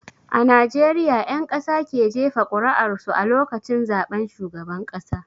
A Najeriya 'ƴan ƙasa ke jefa ƙur'ar su a lokacin zaben shugaban ƙasa.